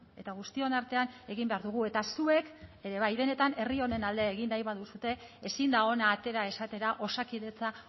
eta guztion artean egin behar dugu eta zuek ere bai benetan herri honen alde egin nahi baduzue ezin da hona atera esatera osakidetza